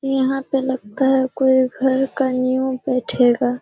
यहाँ पे लगता है कोई घर का नीव बैठेगा।